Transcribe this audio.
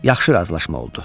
Yaxşı razılaşma oldu.